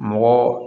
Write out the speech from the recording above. Mɔgɔ